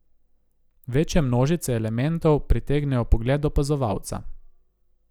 Večje množice elementov pritegnejo pogled opazovalca.